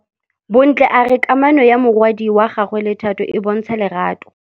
Bontle a re kamanô ya morwadi wa gagwe le Thato e bontsha lerato.